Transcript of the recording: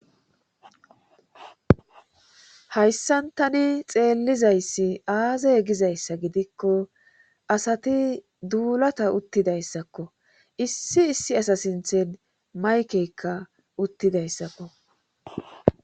Hayssan tani xeellizayssi aaza gizayssa gidikko asati duulata uttidayssakko issi issi asa sinthen maykeykka uttidayssakko.